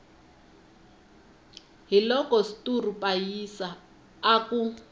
hiloko sturu pasiya a ku